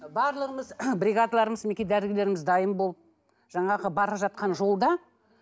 барлығымыз бригадаларымыз мінекей дәрігерлеріміз дайын болып жаңағы бара жатқан жолда